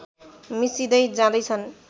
मिसिँदै जाँदैछन्